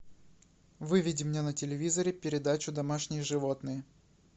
выведи мне на телевизоре передачу домашние животные